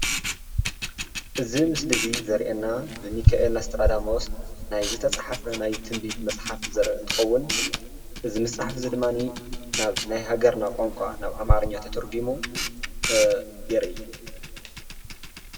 እዚ ምስሊ እዚ ዘርእየና ብሚካኣኤል ኣስትራዳሞስ ናይ ዝተጻሕፈ ናይ ትንቢት መጽሓፍ ዘርኢ እንትኸዉን እዚ መጽሓፍ እዚ ድማኒ ናብ ናይ ሃገርና ቋንቋ ናብ ኣማርኛ ተተርጉሙ የርኢ።